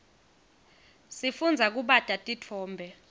sifundza kubata titfombe